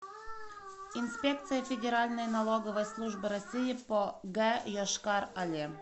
инспекция федеральной налоговой службы россии по г йошкар оле